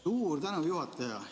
Suur tänu, juhataja!